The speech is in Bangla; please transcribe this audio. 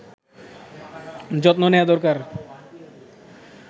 যত্ম নেয়া দরকার